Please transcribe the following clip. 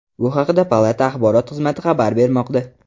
Bu haqda palata axborot xizmati xabar bermoqda .